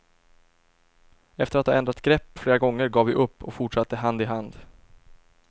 Efter att ha ändrat grepp flera gånger gav vi upp och fortsatte hand i hand.